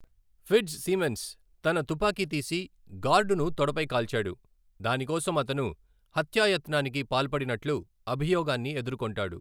Fitzsimmons తన తుపాకీ తీసి, గార్డును తొడపై కాల్చాడు, దాని కోసం అతను హత్యాయత్నానికి పాల్పడినట్లు అభియోగాన్ని ఎదుర్కొంటాడు.